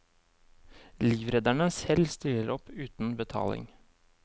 Livredderne selv stiller opp uten betaling.